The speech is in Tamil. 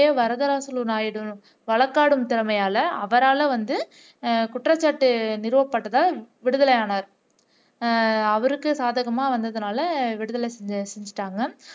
வரதராசுலு நாயுடு வழக்காடும் திறமையால அவரால வந்து குற்றச்சாட்டு நிறுவப்பட்டதால் விடுதலை ஆனார் அவருக்கு சாதகமா வந்ததினால விடுதலை செஞ்சுட்டாங்க